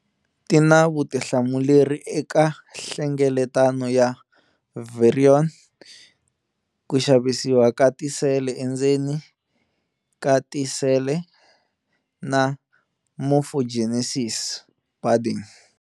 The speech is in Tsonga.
Ti na vutihlamuleri eka nhlengeletano ya virion, ku xavisiwa ka tisele endzeni ka tisele na morphogenesis, budding